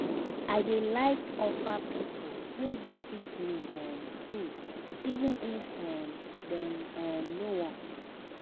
I dey like offer pipo wey visit me um food even if um dem um no want.